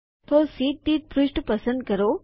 તો શીટ દીઠ પૃષ્ઠ પસંદ કરો